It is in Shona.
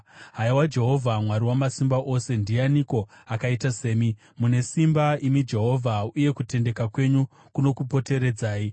Haiwa Jehovha Mwari Wamasimba Ose, ndianiko akaita semi? Mune simba, imi Jehovha, uye kutendeka kwenyu kunokupoteredzai.